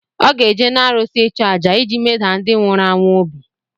Ọ ga-eje n’arụsị ịchu àjà iji medaa ndị nwụrụ anwụ obi